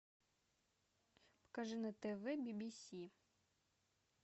покажи на тв би би си